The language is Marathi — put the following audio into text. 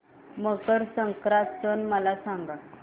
मकर संक्रांत सण मला सांगा